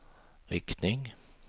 riktning